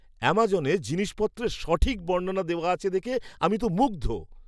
আমাজনে জিনিসপত্রের সঠিক বর্ণনা দেওয়া আছে দেখে আমি তো মুগ্ধ!